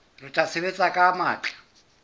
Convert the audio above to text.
re tla sebetsa ka matla